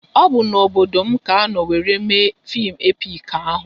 Ọ bụ n'obodo m ka anọ wéré mee fim epik ahụ